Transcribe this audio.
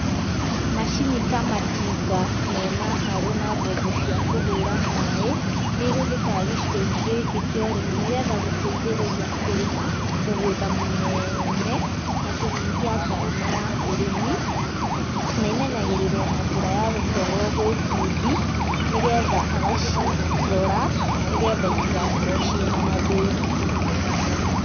Macini ta matinga mena harũ na mbombo cia kũhũra maĩ, nĩ ihũthĩkaga gĩcigo-inĩ gĩkĩ kĩa ũrĩmi nĩgetha gũteithĩrĩria kũrĩma mũgũnda mũnene na kũnyihia ngarama ya ũrĩmi na imenyagĩrĩrwo na njĩra ya gũtwarwo gwĩ bundi, nĩgetha agacirora, nĩgetha itigakorwo ciĩ na mathĩna.